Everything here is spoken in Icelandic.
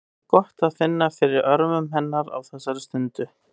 Það er gott að finna fyrir örmum hennar á þessari stundu.